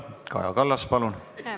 Kaja Kallas, palun!